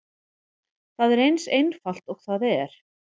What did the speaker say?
Það er eins einfalt og það er.